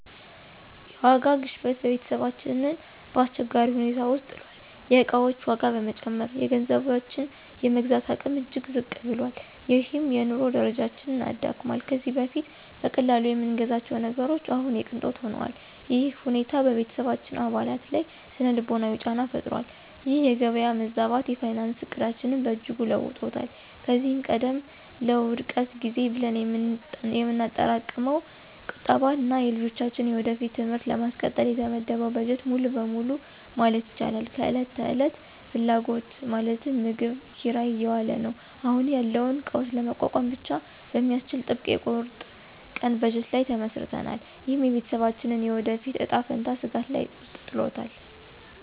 የዋጋ ግሽበት ቤተሰባችንን በአስቸጋሪ ሁኔታ ውስጥ ጥሏል። የዕቃዎች ዋጋ በመጨመሩ፣ የገንዘባችን የመግዛት አቅም እጅግ ዝቅ ብሏል፤ ይህም የኑሮ ደረጃችንን አዳክሟል። ከዚህ በፊት በቀላሉ የምንገዛቸው ነገሮች አሁን የቅንጦት ሆነዋል። ይህ ሁኔታ በቤተሰባችን አባላት ላይ ሥነ-ልቦናዊ ጫና ፈጥሯል። ይህ የገበያ መዛባት የፋይናንስ ዕቅዳችንን በእጅጉ ለውጦታል። ከዚህ ቀደም ለውድቀት ጊዜ ብለን የምናጠራቅመው ቁጠባ እና የልጆቻችንን የወደፊት ትምህርት ለማስቀጠል የተመደበው በጀት ሙሉ በሙሉ ማለት ይቻላል ለዕለት ተዕለት ፍላጎቶች (ምግብ፣ ኪራይ) እየዋለ ነው። አሁን ያለውን ቀውስ ለመቋቋም ብቻ በሚያስችል ጥብቅ የቁርጥ ቀን በጀት ላይ ተመስርተናል። ይህም የቤተሰባችንን የወደፊት እጣ ፈንታ ስጋት ውስጥ ጥሏል።